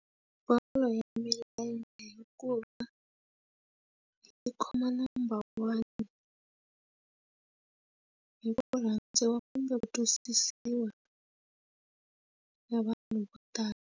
Bolo ya milenge hikuva yi khoma number one hi murhandziwa kumbe ku twisisiwa ya vanhu vo tala.